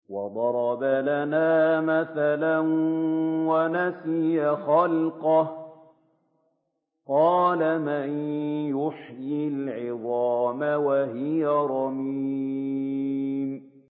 وَضَرَبَ لَنَا مَثَلًا وَنَسِيَ خَلْقَهُ ۖ قَالَ مَن يُحْيِي الْعِظَامَ وَهِيَ رَمِيمٌ